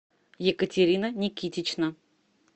екатерина никитична